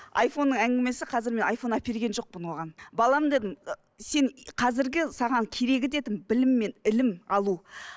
айфонның әңгімесі қазір міне айфон әперген жоқпын оған балам дедім ы сен қазіргі саған керегі дедім білім мен ілім алу